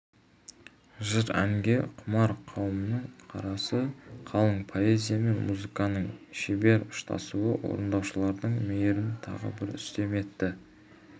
жыр-әнге құмар қауымның қарасы қалың поэзия мен музыканың шебер ұштасуы орындаушылардың мерейін тағы бір үстем етті